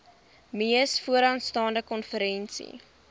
mees vooraanstaande konferensie